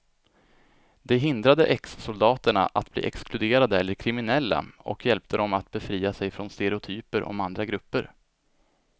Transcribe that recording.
Det hindrade exsoldaterna att bli exkluderade eller kriminella och hjälpte dem att befria sig från stereotyper om andra grupper.